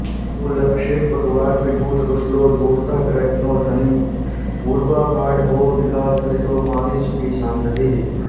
मूलर्क्षे पटुवाग्विधूतकुशलो धूर्तः कृतघ्नो धनी पूर्वापाढभवो विकारचरितो मानी सुखी शान्तधीः